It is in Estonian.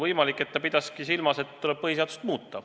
Võimalik, et ta pidaski silmas seda, et tuleb põhiseadust muuta.